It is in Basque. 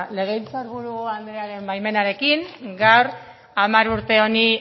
legebiltzar buru andrearen baimenarekin gaur hamar urte honi